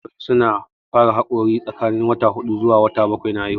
Yawancin jarirai su na fara haƙora tsakanin wata hudu zuwa bakwai na haihuwa